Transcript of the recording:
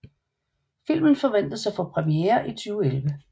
Filmen forventes at få premiere i 2011